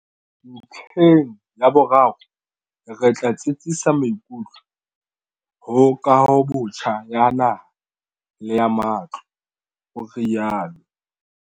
Ntlheng ya boraro, re tla tsitsisa maikutlo ho kahobotjha ya naha le ya matlo, o rialo.